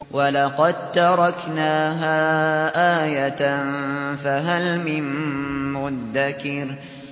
وَلَقَد تَّرَكْنَاهَا آيَةً فَهَلْ مِن مُّدَّكِرٍ